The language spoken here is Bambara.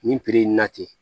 Nin in na ten